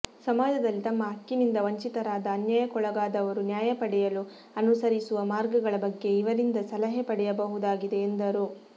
ಸಮಾಜದಲ್ಲಿ ತಮ್ಮ ಹಕ್ಕಿನಿಂದ ವಂಚಿತರಾದ ಅನ್ಯಾಯಕ್ಕೊಳಗಾದವರು ನ್ಯಾಯ ಪಡೆಯಲು ಅನುಸರಿಸುವ ಮಾರ್ಗಗಳ ಬಗ್ಗೆ ಇವರಿಂದ ಸಲಹೆ ಪಡೆಯಬಹುದಾಗಿದೆಎಂದರು